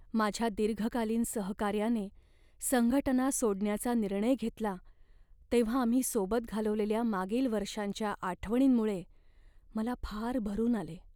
माझ्या दीर्घकालीन सहकाऱ्याने संघटना सोडण्याचा निर्णय घेतला तेव्हा आम्ही सोबत घालवलेल्या मागील वर्षांच्या आठवणींमुळे मला फार भरुन आले.